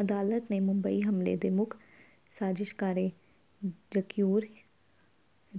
ਅਦਾਲਤ ਨੇ ਮੁੰਬਈ ਹਮਲੇ ਦੇ ਮੁੱਖ ਸਾਜ਼ਿਸ਼ਘਾੜੇ ਜਕੀਉਰ